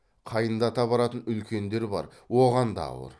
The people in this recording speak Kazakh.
қайындата баратын үлкендер бар оған да ауыр